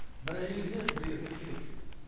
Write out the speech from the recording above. бір әйелге бір еркек керек